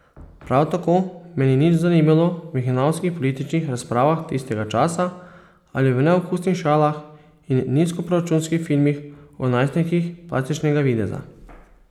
Prav tako me ni nič zanimalo v hinavskih političnih razpravah tistega časa ali v neokusnih šalah in nizkoproračunskih filmih o najstnikih plastičnega videza.